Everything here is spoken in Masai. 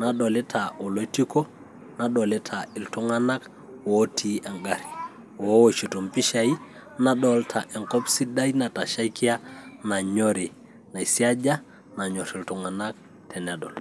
nadolita oloitiko, nadolita iltung'anak ootii engarri ooshito impishai, nadolita enkop sidai natashaikia nanyori, naisiaja nanyorr iltung'anak tenedol.